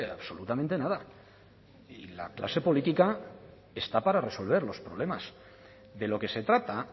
absolutamente nada la clase política está para resolver los problemas de lo que se trata